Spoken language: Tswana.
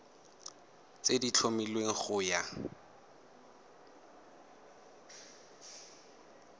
tse di tlhomilweng go ya